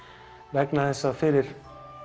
vegna þess að fyrir